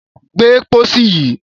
Gbé pósí yìí!